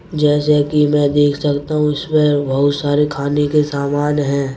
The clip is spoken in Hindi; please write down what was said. जैसे कि मैं देख सकता हूं इसमें बहुत सारे खाने के सामान हैं।